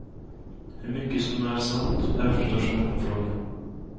Hur mycket som är sant är förstås en öppen fråga.